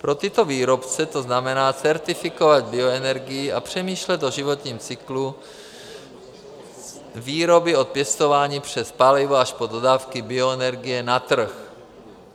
Pro tyto výrobce to znamená certifikovat bioenergii a přemýšlet o životním cyklu výroby od pěstování přes palivo až po dodávky bioenergie na trh.